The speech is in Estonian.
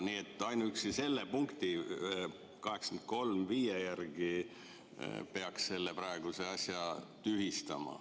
Nii et ainuüksi selle punkti järgi peaks selle praeguse asja tühistama.